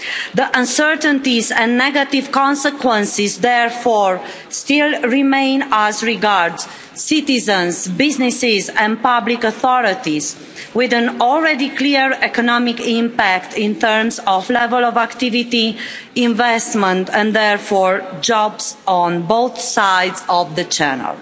The uncertainties and negative consequences therefore still remain as regards citizens, businesses and public authorities, with an already clear economic impact in terms of level of activity, investment and therefore jobs on both sides of the Channel.